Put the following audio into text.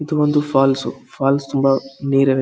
ಇದು ಒಂದು falls falls ತುಂಬಾ ನೀರಿವೆ .